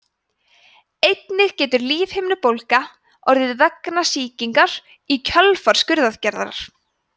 einnig getur lífhimnubólga orðið vegna sýkingar í kjölfar skurðaðgerðar